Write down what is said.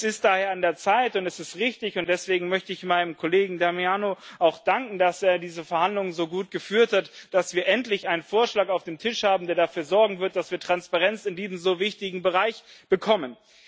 Es ist daher an der Zeit, und es ist richtig und deswegen möchte ich meinem Kollegen Damiano auch danken, dass er diese Verhandlungen so gut geführt hat dass wir endlich einen Vorschlag auf dem Tisch haben, der dafür sorgen wird, dass wir in diesem so wichtigen Bereich Transparenz bekommen.